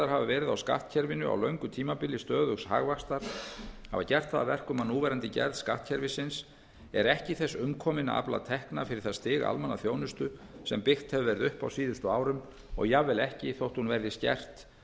verið á skattkerfinu á löngu tímabili stöðugs hagvaxtar hafa gert það að verkum að núverandi gerð skattkerfisins er ekki þess umkomin að afla tekna fyrir það stig almannaþjónustu sem byggt hefur verið upp á síðustu árum og jafnvel ekki þótt hún verði skert